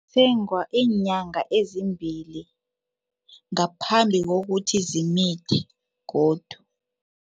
Isengwa iinyanga ezimbili ngaphambi kokuthi zimithe godu.